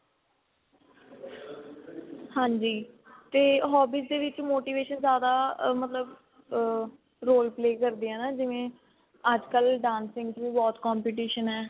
ਹਾਂਜੀ ਤੇ hobbies ਦੇ ਵਿੱਚ motivation ਜਿਆਦਾ ਮਤਲਬ ਆ role play ਕਰਦੀ ਏ ਨਾ ਜਿਵੇਂ ਅੱਜਕਲ dancing ਚ ਵੀ ਬਹੁਤ competition ਏ